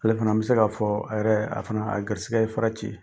Ale fana , n bi se ka fɔ a yɛrɛ a fana garisɛgɛ ye fara ci.